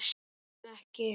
Öndum ekki.